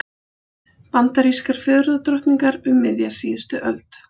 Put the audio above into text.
Bandarískar fegurðardrottningar um miðja síðustu öld.